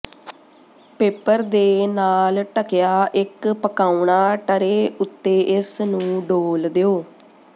paper ਦੇ ਨਾਲ ਢਕਿਆ ਇੱਕ ਪਕਾਉਣਾ ਟਰੇ ਉੱਤੇ ਇਸ ਨੂੰ ਡੋਲ੍ਹ ਦਿਓ